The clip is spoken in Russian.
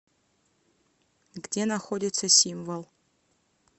где находится символ